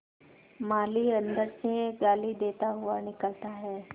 माली अंदर से गाली देता हुआ निकलता है